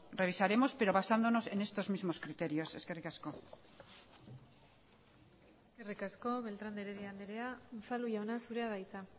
revisaremos pero basándonos en estos mismos criterios eskerrik asko eskerrik asko beltrán de heredia andrea unzalu jauna zurea da hitza